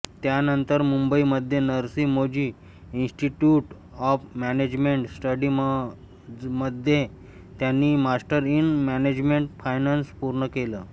त्यानंतर मुंबईमध्ये Narsee Monjee institute of management स्टडीजमध्ये त्यांनी मास्टर्स इन मॅनेजमेंट फायनान्स पूर्ण केलं